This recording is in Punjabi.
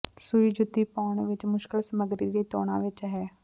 ਸੂਈ ਜੁੱਤੀ ਪਾਉਣ ਵਿਚ ਮੁਸ਼ਕਲ ਸਮੱਗਰੀ ਦੀ ਤੌਣਾਂ ਵਿਚ ਹੈ